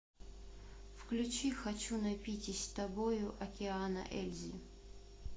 включи хочу напитись тобою океана ельзи